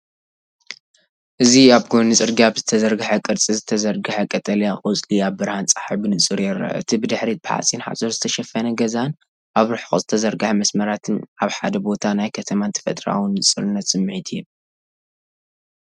እዚ ኣብ ጎኒ ጽርግያ ብዝተዘርግሐ ቅርጺ ዝተዘርግሐ ቀጠልያ ቆጽሊ ኣብ ብርሃን ጸሓይ ብንጹር ይርአ። እቲ ብድሕሪት ብሓጺን ሓጹር ዝተሸፈነ ገዛን ኣብ ርሑቕ ዝተዘርግሐ መስመራትን ኣብ ሓደ ቦታ ናይ ከተማን ተፈጥሮኣዊን ንጹርነት ስምዒት ይህብ።